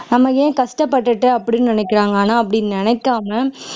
நம்ம ஏன் கஷ்டப்பட்டுட்டு அப்படின்னு நினைக்கிறாங்க ஆனா அப்படி நினைக்காம